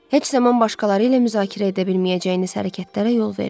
Heç zaman başqaları ilə müzakirə edə bilməyəcəyiniz hərəkətlərə yol verməyin.